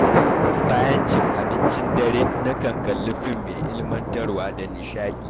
Bayan cin abincin dare, nakan kalli fim mai ilmantarwa da nishaɗi.